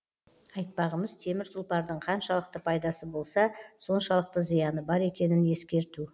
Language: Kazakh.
айтпағымыз темір тұлпардың қаншалықты пайдасы болса соншалықты зияны бар екенін ескерту